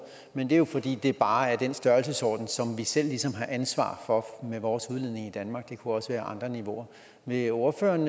men det er jo fordi det bare er den størrelsesorden som vi selv ligesom har ansvar for med vores udledning i danmark det kunne også være andre niveauer vil ordføreren